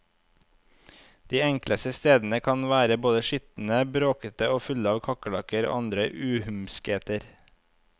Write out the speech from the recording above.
De enkleste stedene kan være både skitne, bråkete og fulle av kakerlakker og andre uhumskheter.